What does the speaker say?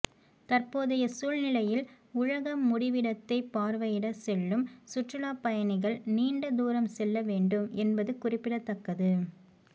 தற்போதைய சூழ்நிலையில் உலக முடிவிடத்தை பார்வையிடச் செல்லும் சுற்றுலா பயணிகள் நீண்ட தூரம் செல்ல வேண்டும் என்பது குறிப்பிடத்தக்கது